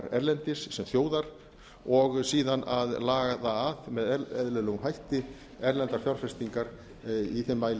erlendis sem þjóðar og síðan að laða að með eðlilegum hætti erlendar fjárfestingar í þeim